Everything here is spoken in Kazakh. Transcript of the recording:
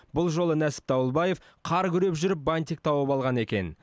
бұл жолы нәсіп дауылбаев қар күреп жүріп бантик тауып алған екен